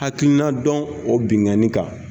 Hakilina dɔn o binkani kan